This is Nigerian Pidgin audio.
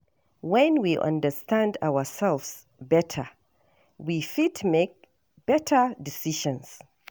When we understand ourselves better, we fit make better decisions